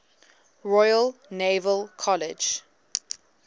royal naval college